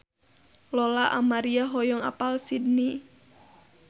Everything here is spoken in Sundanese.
Lola Amaria hoyong apal Sydney